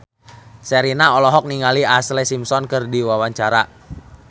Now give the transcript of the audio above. Sherina olohok ningali Ashlee Simpson keur diwawancara